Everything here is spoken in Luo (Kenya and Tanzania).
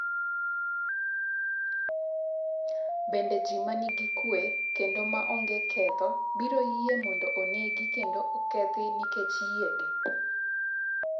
Bende ji ma nigi kuwe kendo ma ongee ketho biro yie mondo onegi kendo okethi nikech yiegi?